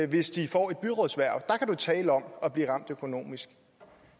hvis de får et byrådshverv der kan du tale om at blive ramt økonomisk